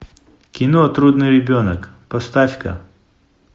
кино трудный ребенок поставь ка